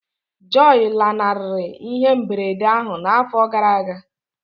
Joy lanarịrị ihe mberede ahụ n'afọ gara aga